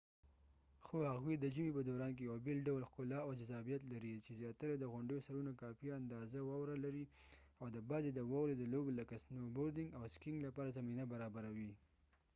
خو هغوي د ژمې په دوران کې یو بیل ډول ښکلا او جذابیت لري چې زیاتره د غونډیو سرونه کافي اندازه واوره لري او د بعضې د واورې د لوبو لکه سنو بوردنګ او سکیینګ لپاره زمینه برابروي